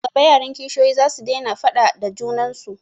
Nan gaba yaran kishiyoyin zasu daina faaɗa da junan su